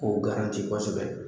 O kosɛbɛ